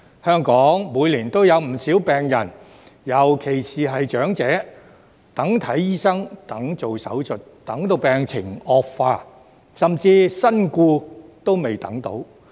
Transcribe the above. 香港每年有不少病人，尤其是長者，等看醫生、等做手術，等到病情惡化，甚至身故仍未等到。